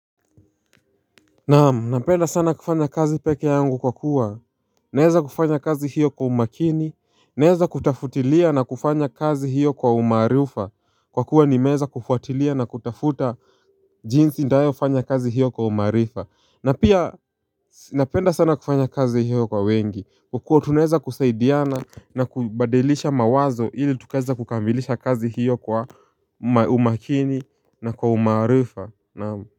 Naam, napenda sana kufanya kazi pekee yangu kwa kuwa naeza kufanya kazi hiyo kwa umakini. Naeza kutafutilia na kufanya kazi hiyo kwa umarufa. Kwa kuwa nimeeza kufuatilia na kutafuta jinsi ntayofanya kazi hiyo kwa umarifa. Na pia, napenda sana kufanya kazi hiyo kwa wengi. Kwa kuwa, tunaweza kusaidiana na kubadilisha mawazo ili tukaeza kukamilisha kazi hiyo kwa umakini na kwa umarifa. Naam.